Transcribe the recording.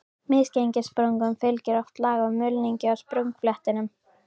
Misgengissprungum fylgir oft lag af mulningi á sprungufletinum.